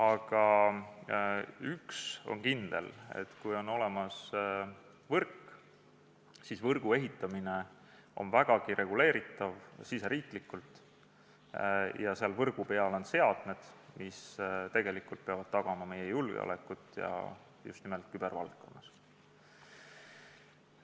Aga üks on kindel: kui on olemas võrk, siis võrgu ehitamine on riigisiseselt vägagi reguleeritav ja selles võrgus on seadmed, mis tegelikult peavad tagama meie julgeoleku just nimelt kübervaldkonnas.